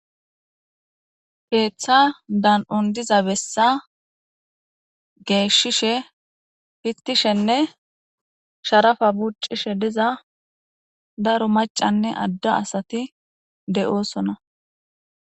heeththa dan'un diza bessa geeshishe fistishenne sharafa buccishe diza daro macanne adda asati de'oosona.